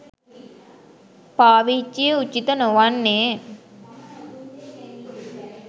පාවිච්චිය උචිත නොවෙන්නේ.